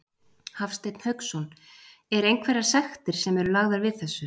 Hafsteinn Hauksson: Er einhverjar sektir sem eru lagðar við þessu?